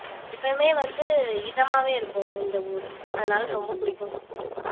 எப்பவுமே வந்து இதமாவே இருக்கும் இந்த ஊரு அதனால ரொம்ப புடிக்கும்